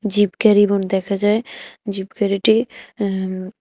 zip গাড়ি দেখা যায় জিপ গাড়িটি আঃ উম--